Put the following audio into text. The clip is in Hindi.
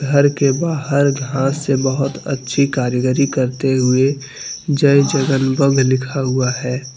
घर के बाहर घास से बहुत अच्छी कारीगरी करते हुए जय जगन बव लिखा हुआ है।